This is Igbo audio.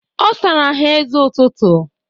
Ọ sara ha eze ụtụtụ.